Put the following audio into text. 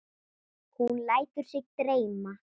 Hún lætur sig dreyma.